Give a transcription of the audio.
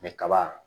kaba